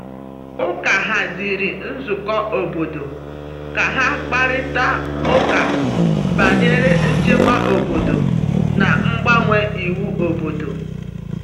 Ụka haziri nzukọ obodo ka ha kparịta ụka banyere nchekwa obodo na mgbanwe iwu obodo.